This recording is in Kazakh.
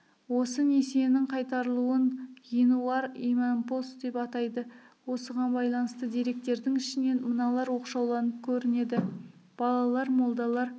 осы несиенің қайтарылуын ғинуар имампос деп атайды осыған байланысты деректердің ішінен мыналар оқшауланып көрінеді балалар молдалар